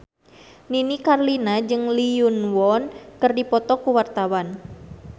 Nini Carlina jeung Lee Yo Won keur dipoto ku wartawan